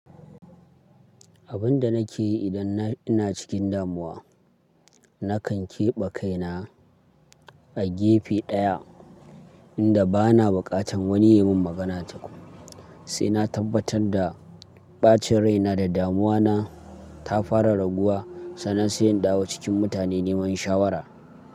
Abin da nake yi idan ina cikin damuwa, nakan keɓe kaina a gefe ɗaya wanda bana buƙatan wani ya min magana tukun, sai na tabbatad da ɓacin raina da damuwa ta fara raguwa, sannan sai in dawo cikin mutane neman shawara.